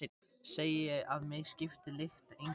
Segi að mig skipti lykt engu máli.